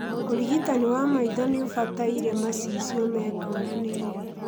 ũrigitani wa maitho noũbatare macicio mekũranĩire